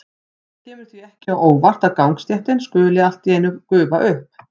Það kemur því ekki á óvart að gangstéttin skuli allt í einu gufa upp.